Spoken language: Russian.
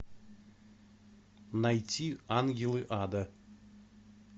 найти ангелы ада